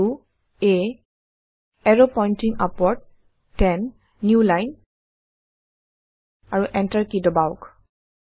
a এৰৱ pointing upward 10 new line আৰু enter key দবাওক